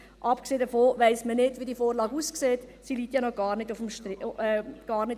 Abgesehen davon weiss man nicht, wie diese Vorlage aussieht, sie liegt ja noch gar nicht auf dem Tisch.